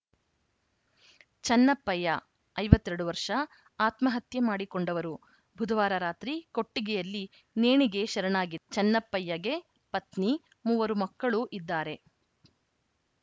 ಚೆನ್ನಪ್ಪಯ್ಯ ಐವತ್ತ್ ಎರಡು ವರ್ಷ ಆತ್ಮಹತ್ಯೆ ಮಾಡಿಕೊಂಡವರು ಬುಧವಾರ ರಾತ್ರಿ ಕೊಟ್ಟಿಗೆಯಲ್ಲಿ ನೇಣಿಗೆ ಶರಣಾಗಿ ಚೆನ್ನಪ್ಪಯ್ಯಗೆ ಪತ್ನಿ ಮೂವರು ಮಕ್ಕಳು ಇದ್ದಾರೆ